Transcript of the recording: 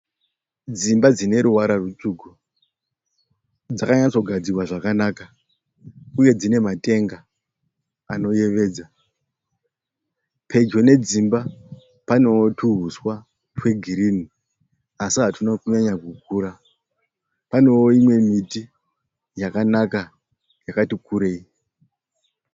Dzimba dzineruvara rwutsvuku, dzakanyatsogadzirwa zvakanaka uye dzinematenga anoyevedza. Pedyo nedzimba panewo tuhuswa twegirinhi asi hatwuna kunyanya kukura. Panewo imwe miti yakanaka yakati kurei.